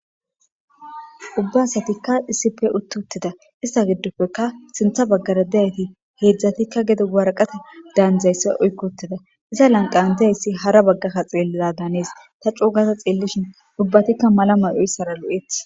Ubba asatikka isipe uttuttida ista giddopfeka sintha baggara deyayti heedzdzatikka gedo waraqata daandzayssa oykkotida iza lanqan deyayssi hara baggakka xeelliza daanees ta cuugaza xeellishin ubbatikka malamay oyssara lo'eti.